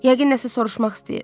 Yəqin nəsə soruşmaq istəyir.